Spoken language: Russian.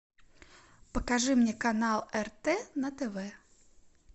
покажи мне канал рт на тв